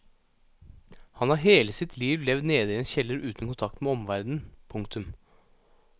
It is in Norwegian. Han har hele sitt liv levd nede i en kjeller uten kontakt med omverdenen. punktum